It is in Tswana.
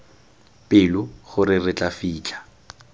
pelo gore re tla fitlha